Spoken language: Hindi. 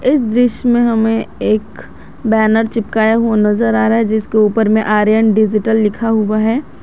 इस दृश्य में हमें एक बैनर चिपकाया हुआ नजर आ रहा है जिसके ऊपर में आर्यन डिजिटल लिखा हुआ है।